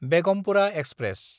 Begumpura express